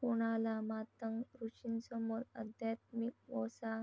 कोणाला मातंग ऋषींसमोर अध्यात्मिक वसा